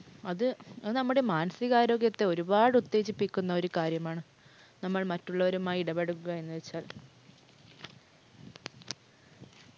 അത് നമ്മുടെ മാനസിക ആരോഗ്യത്തെ ഒരുപാട് ഉത്തേജിപ്പിക്കുന്ന ഒരു കാര്യമാണ്. നമ്മൾ മറ്റുള്ളവരുമായി ഇടപെടുക എന്ന് വച്ചാൽ.